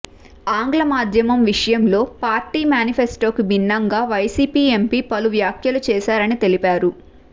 ఆంగ్ల మాధ్యమం విషయంలో పార్టీ మేనిఫెస్టోకు భిన్నంగా వైసీపీ ఎంపీ పలు వ్యాఖ్యలు చేశారని తెలిపారు